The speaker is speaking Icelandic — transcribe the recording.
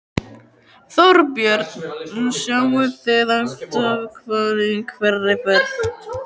Þorbjörn: Sjáið þið alltaf hvali í hverri ferð?